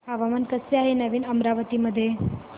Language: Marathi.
हवामान कसे आहे नवीन अमरावती मध्ये